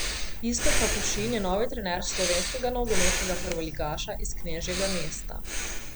Iztok Kapušin je novi trener slovenskega nogometnega prvoligaša iz knežjega mesta.